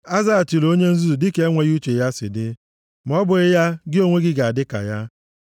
A zaghachila onye nzuzu dịka enweghị uche ya si dị, ma ọ bụghị ya gị onwe gị ga-adị ka ya.